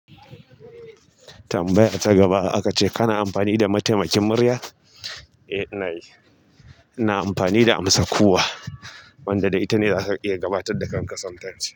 Tambaya ta gaba aka ce kana amfani da mataimakin murya? Eh na yi, ina amfani da amsakuwa wanda da ita ne za su iya gabatar da kan kasamtacci.